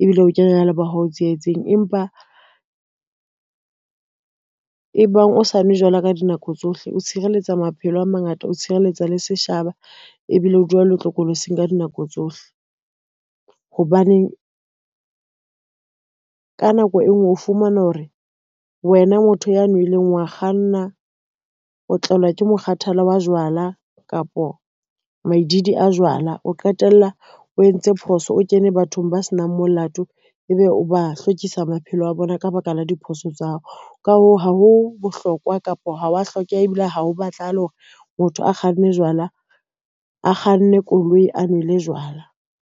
ebile o kenya le bohahao tsietseng. Empa ebang ha o sa nwe jwala ka dinako tsohle, o tshireletsa maphelo a mangata, o tshireletsa le setjhaba ebile o dula o le tlokolotsing ka dinako tsohle. Hobaneng ka nako e ngwe o fumana hore wena motho ya nweleng wa kganna, o tlelwa ke mokgathala wa jwala kapa maedidi a jwala, o qetella o entse phoso, o kene bathong ba senang molato, ebe o ba hlokisa maphelo a bona ka baka la diphoso tsa hao. Ka hoo, ha ho bohlokwa kapa ho wa hlokeha ebile ha o batlahale hore motho a kganne koloi, a nwele jwala.